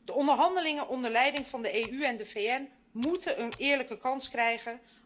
De onderhandelingen onder leiding van de EU en de VN moeten een eerlijke kans krijgen.